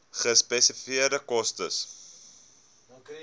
gespesifiseerde koste